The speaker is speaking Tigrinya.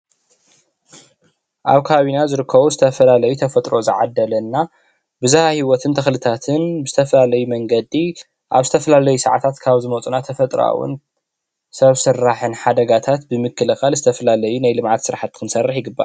አብ ከባቢና ዝርከቡ ዝተፈላለዩ ተፈጥሮ ዝዓደለና ብዝሃ ሂወትን ተኽልታትን ብዝተፈላለዪ መንገዲ አብ ዝተፈላለዩ ሰዓታት ካብ ዝመፁና ተፈጥሮአዊ ን ሰብ ሰራሕን ሓደጋታት ብምክልኻል ዝተፈላለዪ ናይ ልምዓት ስራሕቲ ክንሰርሕ ይግባእ።